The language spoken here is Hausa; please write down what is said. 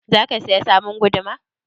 Za ka saya sabon guduma?